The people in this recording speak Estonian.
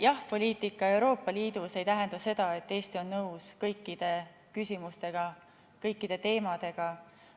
Jah‑poliitika Euroopa Liidus ei tähenda seda, et Eesti on nõus kõikide küsimustega, kõikide teemadega.